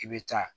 I bɛ taa